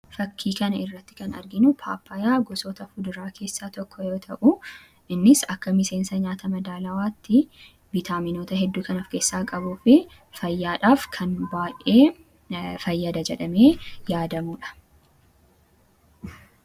Fakkii kanarratti kan arginu pappaayaa gosoota muduraa keessaa tokko yoo ta'u, innis akka miseensa nyaata madaalawaatti vitaaminoota hedduu kan of keessaa qabuu fi fayyaadhaaf kan baay'ee fayyada jedhamee yaadamudha.